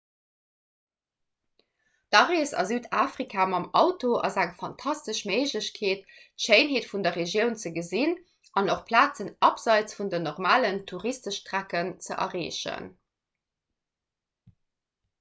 d'arees a südafrika mam auto ass eng fantastesch méiglechkeet d'schéinheet vun der regioun ze gesinn an och plazen abseits vun den normalen touristestrecken ze erreechen